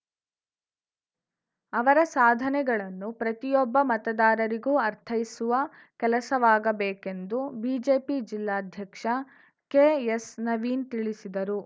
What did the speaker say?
ಅವರ ಸಾಧನೆಗಳನ್ನು ಪ್ರತಿಯೊಬ್ಬ ಮತದಾರರಿಗೂ ಅರ್ಥೈಸುವ ಕೆಲಸವಾಗಬೇಕೆಂದು ಬಿಜೆಪಿ ಜಿಲ್ಲಾಧ್ಯಕ್ಷ ಕೆಎಸ್‌ನವೀನ್‌ ತಿಳಿಸಿದರು